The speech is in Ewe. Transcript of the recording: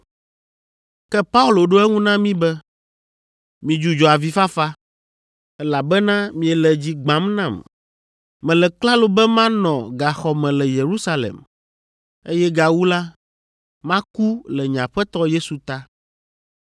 Ke Paulo ɖo eŋu na mí be, “Midzudzɔ avifafa, elabena miele dzi gbãm nam. Mele klalo be manɔ gaxɔ me le Yerusalem, eye gawu la, maku le nye Aƒetɔ Yesu ta.”